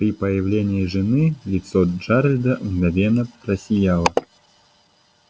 при появлении жены лицо джералда мгновенно просияло